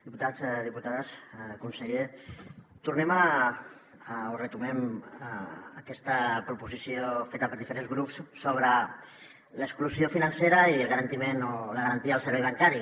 diputats diputades conseller tornem o retornem a aquesta proposició feta per diferents grups sobre l’exclusió financera i la garantia del servei bancari